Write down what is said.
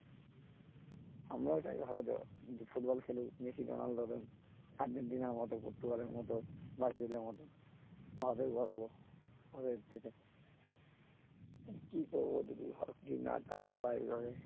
আমরাও চাই ভারতেও ফুটবল খেলুক মেসি রোনাল্ডোদের আর্জেন্টিনার মত পর্তুগালের মত ব্রাজিলের মত ভারতের গর্ব কি কি করব যদি ভারত যদি না chance পায় এইভাবে